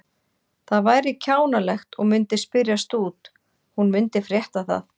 Það væri kjánalegt og myndi spyrjast út, hún myndi frétta það.